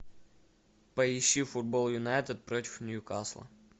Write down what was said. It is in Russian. поищи футбол юнайтед против ньюкасла